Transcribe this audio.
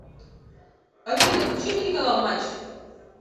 афина включи телеканал матч